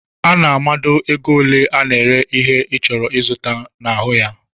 Ana a mado égo ole ana ere ihe i chọrọ izụta n'ahụ ya.